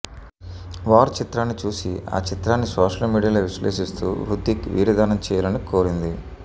war చిత్రాన్ని చూసి ఆ చిత్రాన్ని సోషల్ మీడియాలో విశ్లేషిస్తూ హృతిక్ వీర్యదానం చేయాలని కోరింది